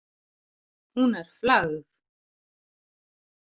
Hún er flagð.